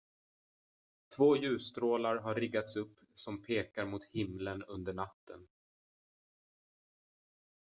två ljusstrålar har riggats upp som pekar mot himlen under natten